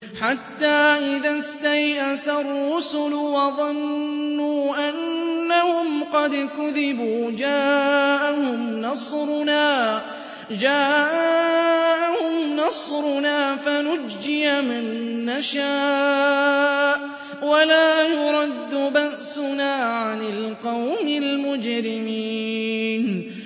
حَتَّىٰ إِذَا اسْتَيْأَسَ الرُّسُلُ وَظَنُّوا أَنَّهُمْ قَدْ كُذِبُوا جَاءَهُمْ نَصْرُنَا فَنُجِّيَ مَن نَّشَاءُ ۖ وَلَا يُرَدُّ بَأْسُنَا عَنِ الْقَوْمِ الْمُجْرِمِينَ